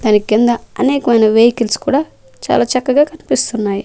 దాని కింద అనేకమైన వెహికల్స్ కూడా చాలా చక్కగా కనిపిస్తున్నాయి.